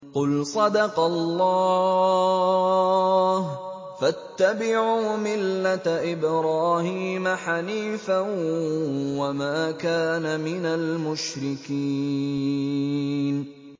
قُلْ صَدَقَ اللَّهُ ۗ فَاتَّبِعُوا مِلَّةَ إِبْرَاهِيمَ حَنِيفًا وَمَا كَانَ مِنَ الْمُشْرِكِينَ